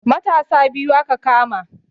Matasa biyu aka kama